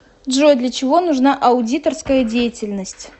джой для чего нужна аудиторская деятельность